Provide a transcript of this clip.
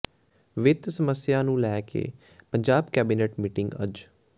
ਵਿੱਤ ਸਮੱਸਿਆ ਨੂੰ ਲੈ ਕੇ ਪੰਜਾਬ ਕੈਬਨਿਟ ਮੀਟਿੰਗ ਅੱਜ